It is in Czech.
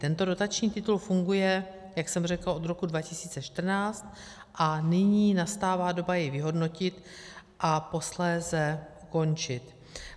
Tento dotační titul funguje, jak jsem řekla, od roku 2014 a nyní nastává doba jej vyhodnotit a posléze ukončit.